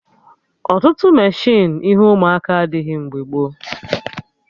Ọtụtụ meshịnụ ihe ụmụaka adịghị mgbe gboo